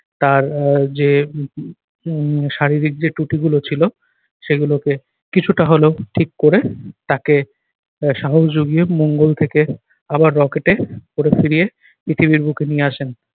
তার আহ যে উহ উহ উম শারীরিক যে ত্রুটিগুলো ছিল সেগুলোকে কিছুটা হলেও ঠিক করে তাকে আহ সাহস যুগিয়ে মঙ্গল থেকে আবার rocket এ করে ফিরিয়ে পৃথিবীর বুকে নিয়ে আসেন।